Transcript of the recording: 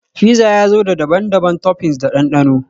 Fizza ya zo da daban-daban toppings da dandano